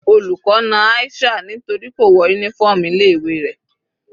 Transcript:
Olùkọ́ na Aisha nítorí kò wọ uniform ilé ìwé rẹ̀.